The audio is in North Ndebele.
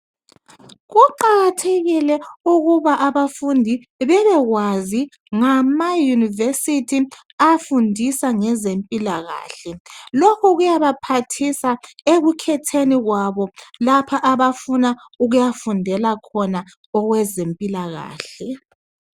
Kuqakathekile ukuba abafundi bebekwazi ngama yunivesithi afundisa ngezempilakahle. Lokhu kuyabaphathisa ekukhetheni kwabo lapha abafuna ukuyafundela khona okwezempilakahle.